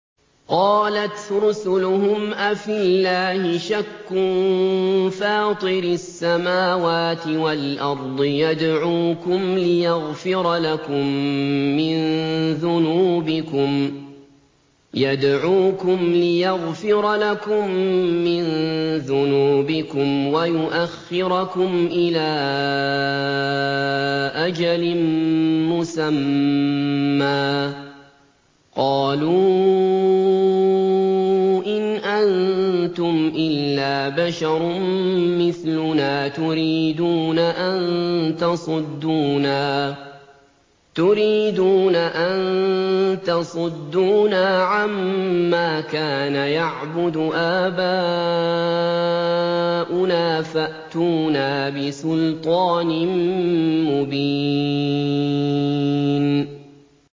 ۞ قَالَتْ رُسُلُهُمْ أَفِي اللَّهِ شَكٌّ فَاطِرِ السَّمَاوَاتِ وَالْأَرْضِ ۖ يَدْعُوكُمْ لِيَغْفِرَ لَكُم مِّن ذُنُوبِكُمْ وَيُؤَخِّرَكُمْ إِلَىٰ أَجَلٍ مُّسَمًّى ۚ قَالُوا إِنْ أَنتُمْ إِلَّا بَشَرٌ مِّثْلُنَا تُرِيدُونَ أَن تَصُدُّونَا عَمَّا كَانَ يَعْبُدُ آبَاؤُنَا فَأْتُونَا بِسُلْطَانٍ مُّبِينٍ